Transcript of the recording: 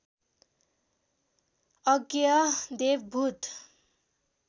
अज्ञेय देव भूत